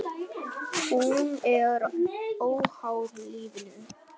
Hún er óháð lífinu.